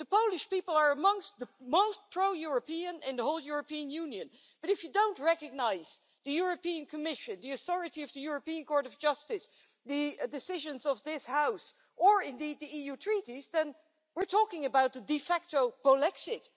The Polish people are amongst the most pro European in the whole European Union, but if you don't recognise the European Commission, the authority of the European Court of Justice, the decisions of this House, or indeed the EU treaties then we're talking about a de facto Polexit'.